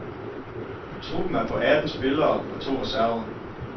Truppen er på atten spillere og to reserver.